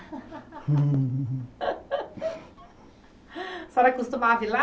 A senhora costumava ir lá?